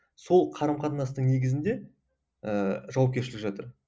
сол қарым қатынастың негізінде ііі жауапкершілік жатыр